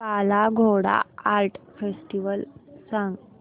काला Ghoda art festival सांग